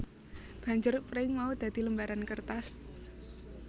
Banjur pring mau dadi lembaran kertas